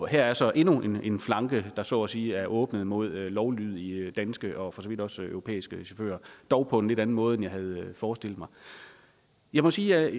her er så endnu en flanke der så at sige er åbnet mod lovlydige danske og for så vidt også europæiske chauffører dog på en lidt anden måde end jeg havde forestillet mig jeg må sige at jeg